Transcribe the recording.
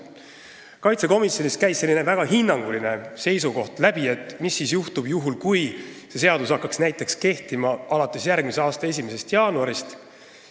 Riigikaitsekomisjonist käis läbi ka selline väga hinnanguline seisukoht, et mis juhtuks siis, kui see seadus hakkaks kehtima näiteks järgmise aasta 1. jaanuaril.